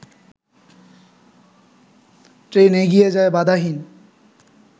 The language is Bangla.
ট্রেন এগিয়ে যায় বাধাহীন